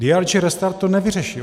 DRG Restart to nevyřeší.